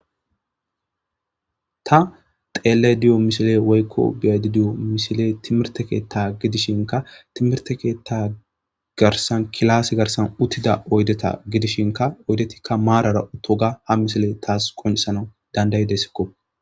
Ta xellayda diyo missiley woykko beayda diyo missiley timhirtte keththa giddishinka timihrte keththa kilase garssan uttida oydeta gidishinka oydeti maaran uttiyoga ha missiley tas qoncisanas dandaidesikko.